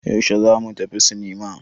Yaushe za mu tafi sinima?